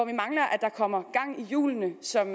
at der kommer gang i hjulene som